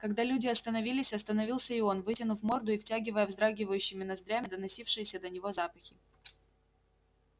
когда люди остановились остановился и он вытянув морду и втягивая вздрагивающими ноздрями доносившиеся до него запахи